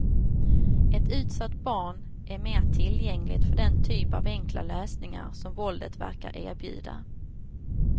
Ett utsatt barn är mer tillgängligt för den typ av enkla lösningar som våldet verkar erbjuda.